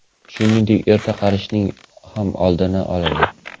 Shuningdek, erta qarishning ham oldini oladi.